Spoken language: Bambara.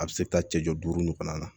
A bɛ se ka taa cɛ jɔ duuru nin fana na